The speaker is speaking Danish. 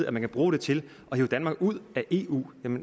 at man kan bruge det til at hive danmark ud af eu